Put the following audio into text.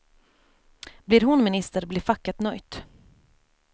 Blir hon minister blir facket nöjt.